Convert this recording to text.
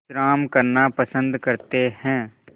विश्राम करना पसंद करते हैं